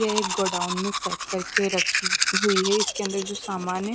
यह एक गोदाम में सेट करके रखी हुई है और इसके अंदर जो सामान है।